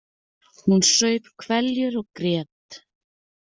Hún saup hveljur og grét.